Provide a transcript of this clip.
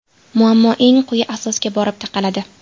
Muammo eng quyi asosga borib taqaladi.